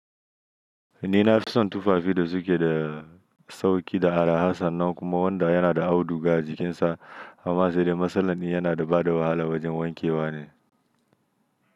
Ni na fi son tufafi da suke da sauƙi da araha sannan kuma wanda yana da au duga jikinsa, amma sai dai masalan yana da bada wahala wajen wankewa ne.